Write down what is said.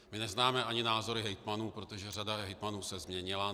My neznáme ani názory hejtmanů, protože řada hejtmanů se změnila.